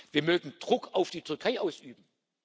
Wir mögen Druck auf die Türkei ausüben.